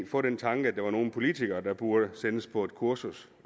få den tanke at der var nogle politikere der burde sendes på et kursus